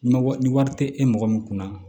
Ma ni wari te e mɔgɔ min kunna